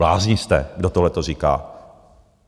Blázni jste, kdo tohle to říká?